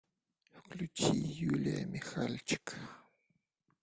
включи юлия михальчик